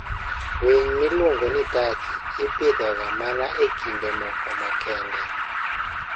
Winy miluongo ni Turkey ipidhoga mana e kinde moko makende.